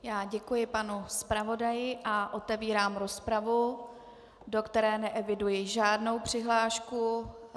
Já děkuji panu zpravodaji a otevírám rozpravu, do které neeviduji žádnou přihlášku.